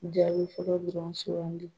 Jaabi fɔlɔ dɔrɔn sugandi